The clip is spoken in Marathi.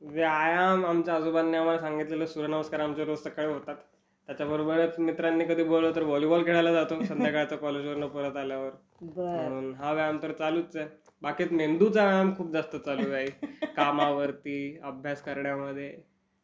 व्यायाम.. आमच्या आजोबांनी आम्हाला सांगितलेलं.. सूर्यनमस्कार यांचे रोज सकाळी होतात. त्याच्याबरोबरच मित्रांनी कधी बोलवलं तर वॉलीबॉल खेळायला जातो संध्याकाळचं कॉलेजवरनं परत आल्यावर.म्हणून हा व्यायाम तर चालूच आहे बाकी मेंदु चा व्यायाम खूप जास्त चालू आहे आई कामावरती अभ्यास करण्यामधे